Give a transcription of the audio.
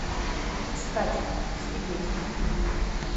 искать свидетель